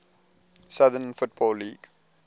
southern football league